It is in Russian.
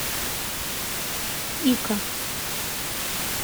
ика